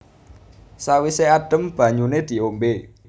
Sawise adem banyune diombe